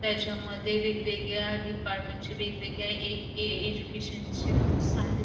त्याच्यामध्ये वेगवेगळ्या डिपार्टमेंटच्या वेगवेगळ्या ए एज्युकेशन चे बुक्स आहेत.